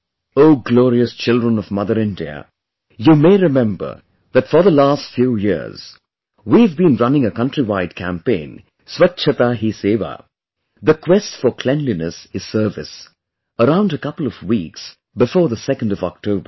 O glorious children of Mother India, you may remember that for the last few years, we have been running a countrywide campaign 'Swachchata Hi Sewa', 'the quest for cleanliness is service', around a couple of weeks before the 2nd of October